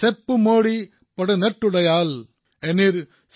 ১৯শ শতিকাৰ শেষাংশত মহাকবি সুব্ৰমণ্যম ভাৰতীয়ে কৈছিল আৰু তামিল ভাষাত কৈছিল